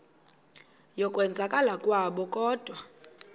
yokwenzakala kwabo kodwa